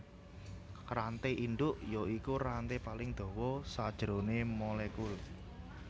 Ranté indhuk ya iku ranté paling dawa sajroné molekul